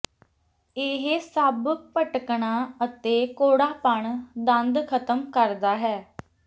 ਇਹ ਸਭ ਭਟਕਣਾ ਅਤੇ ਕੌੜਾਪਣ ਦੰਦ ਖਤਮ ਕਰਦਾ ਹੈ